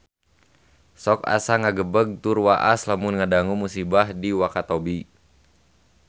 Sok asa ngagebeg tur waas lamun ngadangu musibah di Wakatobi